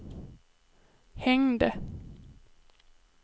hängde